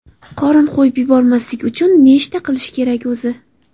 Qorin qo‘yib yubormaslik uchun nechta qilish kerak o‘zi?